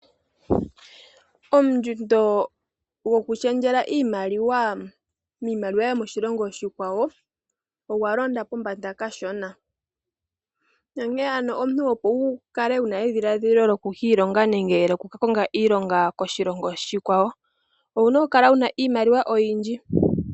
Ondjundo yokushendjela iimaliwa miimaliwa yomoshilongo oshikwawo oya londa pombanda kashona nonkene ano omuntu opo wu kale wuna edhiladhilo lyoku kiilonga nenge lyokuka konga iilonga koshilongo oshikwawo owuna okukala wuna iimaliwa oyindji.